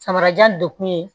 Samarajan de kun ye